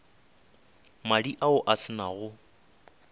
madi ao a se nago